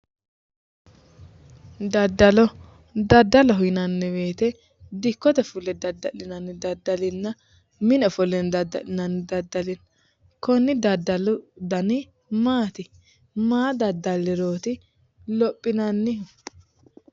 Daddallo daddaloho yinanni woyte. Gobba fulle dadda'linanni dadda'linanna mine ofolline dadda'linanni daddali konni daddali dani maati? Maa daddallirooti lophinannihu?